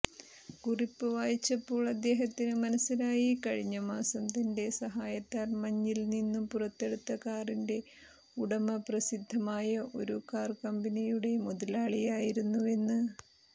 കുറിപ്പ് വായിച്ചപ്പോൾ അദ്ദേഹത്തിന് മനസ്സിലായി കഴിഞ്ഞമാസം തന്റെ സഹായത്താൽ മഞ്ഞിൽനിന്നു പുറത്തെടുത്ത കാറിന്റെ ഉടമ പ്രസിദ്ധമായ ഒരു കാർകമ്പനിയുടെ മുതലാളിയായിരുന്നുവെന്ന്